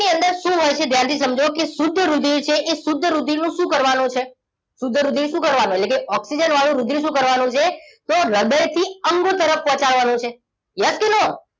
હૃદયની અંદર શું હોય છે ધ્યાનથી સમજો કે શુદ્ધ રુધિર છે એ શુદ્ધ રુધિરનું શું કરવાનું છે શુદ્ધ રુધિર શું કરવાનું એટલે કે ઓક્સિજન વાળું રુધિર શું કરવાનું છે તો હૃદયથી અંગ તરફ પહોંચાડવાનું છે yes કે no